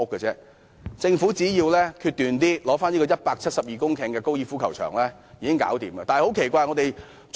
政府只需決斷一點，收回172公頃的高爾夫球場便可解決問題。